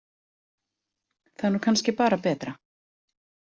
Það er nú kannski bara betra.